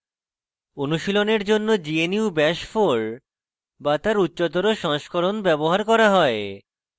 অনুশীলনের জন্য gnu bash 4 bash তার উচ্চতর সংস্করণ ব্যবহার করা হয়